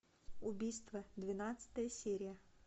убийство двенадцатая серия